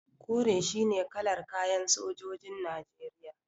Kore shine kalar kayan sojojin Najeriya.